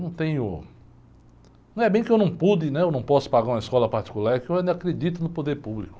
Não tenho, não é bem que eu não pude, né? Ou não posso pagar uma escola particular, é que eu ainda acredito no poder público.